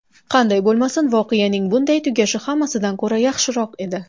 Qanday bo‘lmasin, voqeaning bunday tugashi hammasidan ko‘ra yaxshiroq edi.